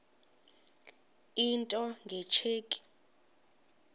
into nge tsheki